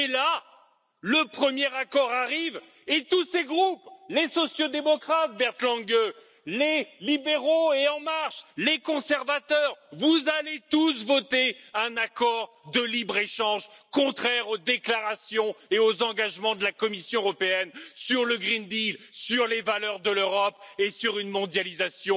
Et là, le premier accord arrive et tous ces groupes, les sociaux démocrates, Bernd Lange, les libéraux et En marche, les conservateurs vous allez tous voter un accord de libre échange contraire aux déclarations et aux engagements de la Commission européenne sur le pacte vert, sur les valeurs de l'Europe et sur une mondialisation